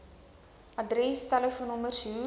adres telefoonnommers hoe